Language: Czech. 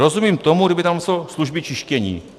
Rozumím tomu, kdyby tam psal služby čištění.